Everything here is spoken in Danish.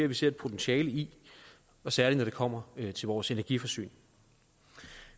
vi ser et potentiale i og særlig når det kommer til vores energiforsyning